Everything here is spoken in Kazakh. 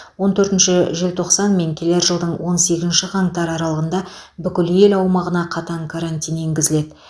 он төртінші желтоқсан мен келер жылдың он сегізінші қаңтары аралығында бүкіл ел аумағына қатаң карантин енгізіледі